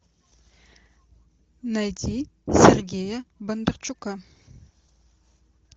найти сергея бондарчука